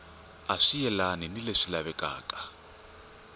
swi yelani ni leswi lavekaka